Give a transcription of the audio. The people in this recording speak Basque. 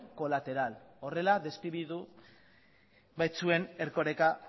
colateral horrela deskribatu baitzuen erkoreka